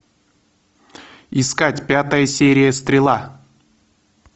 искать пятая серия стрела